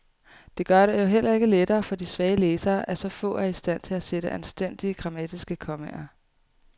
Det gør det jo heller ikke lettere for de svage læsere, at så få er i stand til at sætte anstændige, grammatiske kommaer.